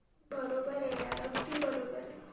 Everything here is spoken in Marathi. बरोबर ऐ यार अगदी बरोबर ऐ